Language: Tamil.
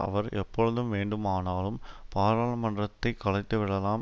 அவர் எப்பொழுதும் வேண்டுமானாலும் பாராளுமன்றத்தை கலைத்துவிடலாம்